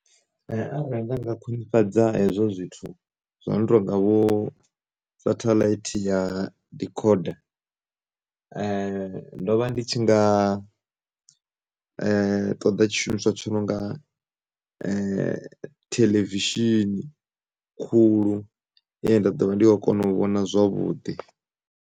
Arali nda nga khwinifhadza hezwo zwithu zwo no tonga vho sathaḽaithi ya decorder ndo vha ndi tshi nga ṱoḓa tshishumiswa tshi no nga theḽevishini khulu ine nda ḓovha ndi kho kona u vhona zwavhuḓi.